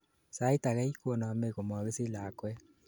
sait agei konomei komokisich lakwet